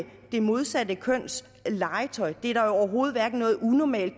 det modsatte køns legetøj er der jo overhovedet hverken noget unormalt